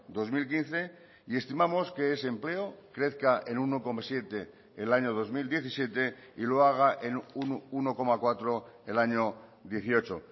dos mil quince y estimamos que ese empleo crezca en uno coma siete el año dos mil diecisiete y lo haga en uno coma cuatro el año dieciocho